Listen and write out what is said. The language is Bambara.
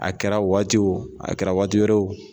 A kɛra o waati o, a kɛra waati wɛrɛ o